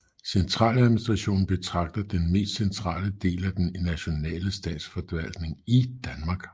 Centraladministrationen betegner den mest centrale del af den nationale statsforvaltning i Danmark